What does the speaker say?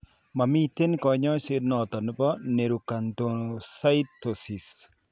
Mamiten kanyaiset noton nebo neuroacanthocytosis.